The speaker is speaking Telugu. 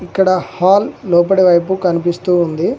ఇక్కడ హాల్ లోపట వైపు కనిపిస్తూ ఉంది.